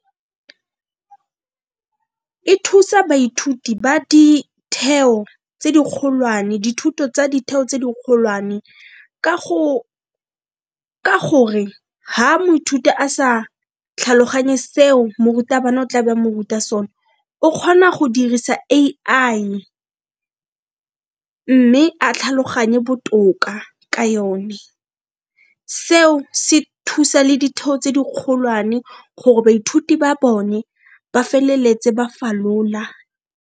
E thusa baithuti ba dithuto tsa ditheo tse dikgolwane ka gore ga moithuti a sa tlhaloganye se o morutabana o tla be a mo ruta so ne o kgona go dirisa A_I mme a tlhaloganye botoka ka yone, seo se thusa le ditheo tse dikgolwane gore baithuti ba bone ba feleletse ba falola.